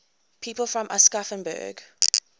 people from aschaffenburg